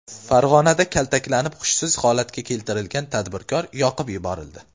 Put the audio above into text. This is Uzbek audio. Farg‘onada kaltaklanib, hushsiz holatga keltirilgan tadbirkor yoqib yuborildi .